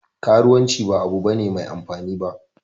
Karuwanci ba abu ne Mai amfani ba